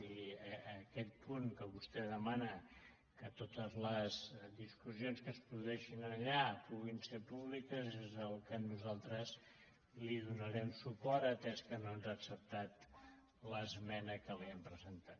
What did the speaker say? i aquest punt que vostè demana que totes les discus·sions que es produeixin allà puguin ser públiques és al que nosaltres donarem suport atès que no ens ha acceptat l’esmena que li hem presentat